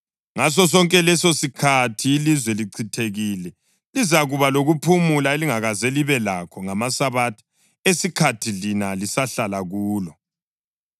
Ngasosonke lesosikhathi ilizwe lichithekile lizakuba lokuphumula elingazange libe lakho ngamasabatha esikhathi lina lisahlala kulo.